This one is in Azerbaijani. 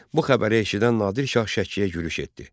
Bu xəbəri eşidən Nadir Şah Şəkiyə yürüş etdi.